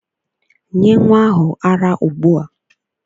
Nye nnwa ahụ ara ugbua!